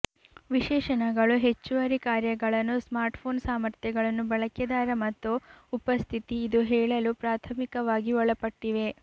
ವಿಶೇಷಣಗಳು ಹೆಚ್ಚುವರಿ ಕಾರ್ಯಗಳನ್ನು ಸ್ಮಾರ್ಟ್ಫೋನ್ ಸಾಮರ್ಥ್ಯಗಳನ್ನು ಬಳಕೆದಾರ ಮತ್ತು ಉಪಸ್ಥಿತಿ ಇದು ಹೇಳಲು ಪ್ರಾಥಮಿಕವಾಗಿ ಒಳಪಟ್ಟಿವೆ